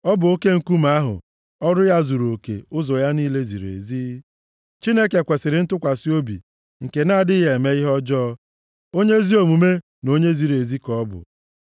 Ọ bụ oke nkume ahụ, ọrụ ya zuruoke, ụzọ ya niile ziri ezi. Chineke kwesiri ntụkwasị obi, nke na-adịghị eme ihe ọjọọ, onye ezi omume na onye ziri ezi ka ọ bụ.